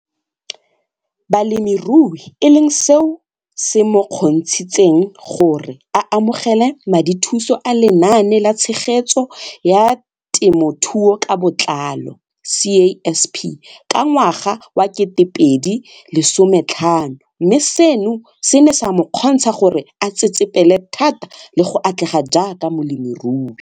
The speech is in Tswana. Balemirui e leng seo se mo kgontshitseng gore a amogele madithuso a Lenaane la Tshegetso ya Temothuo ka Botlalo CASP ka ngwaga wa 2015, mme seno se ne sa mo kgontsha gore a tsetsepele thata le go atlega jaaka molemirui.